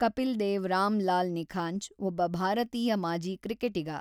ಕಪಿಲ್ ದೇವ್ ರಾಮಲಾಲ್ ನಿಖಾಂಜ್ ಒಬ್ಬ ಭಾರತೀಯ ಮಾಜಿ ಕ್ರಿಕೆಟಿಗ.